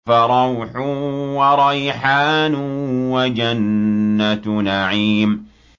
فَرَوْحٌ وَرَيْحَانٌ وَجَنَّتُ نَعِيمٍ